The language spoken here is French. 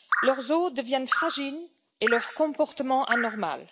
Leurs os deviennent fragiles et leur comportement anormal.